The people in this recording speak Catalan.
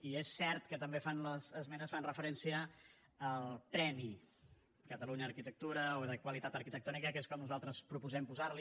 i és cert que també les esmenes fan referència al premi catalunya arquitectura o de qualitat arquitectònica que és com nosaltres proposem posar li